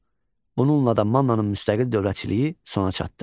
Bununla da Mannanın müstəqil dövlətçiliyi sona çatdı.